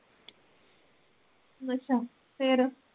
ਅੱਛਾ ਫੇਰ।